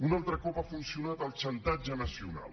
un altre cop ha funcionat el xantatge nacional